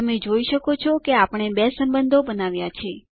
તમે જોઈ શકો છો કે આપણે બે સંબંધો બનાવ્યા છે